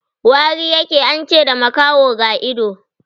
Wari ya ke, an ce da makaho ga ido.